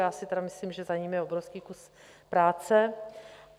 Já si tedy myslím, že za ním je obrovský kus práce.